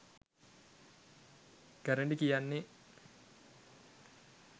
ගැරඬි කියන්නෙ